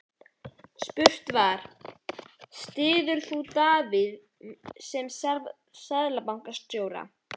Spurt var, styður þú Davíð sem Seðlabankastjóra?